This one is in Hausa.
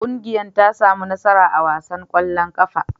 Ƙungiyar ta sami nasara a wasan ƙwallon ƙafar.